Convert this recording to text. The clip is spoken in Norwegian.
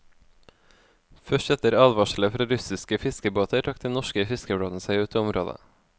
Først etter advarsler fra russiske fiskebåter trakk den norske fiskeflåten seg ut av området.